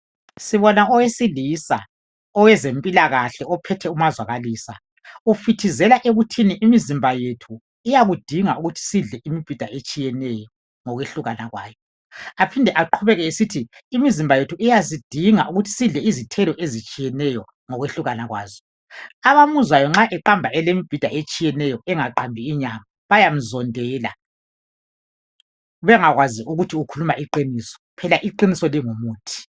Sibona owesilisa, owezempilakahle ophethe umazwakalisa. Ufithizela ekuthini imizimba yethu iyakudinga ukuthi sidle imibhida etshiyeneyo ngokwehlukana kwayo. Aphinde aqhubeke esithi imizimba yethu iyazidinga ukuthi sidle izithelo ezitshiyeneyo ngokwehlukana kwazo. Abamuzwayo nxa eqamba elembhida etshiyeneyo engaqambi inyama, bayamzondela, bengakwazi ukuthi ukhuluma iqiniso, phela iqiniso lingumuthi.